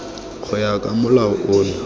go ya ka molao ono